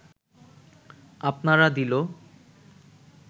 আপনারা দিল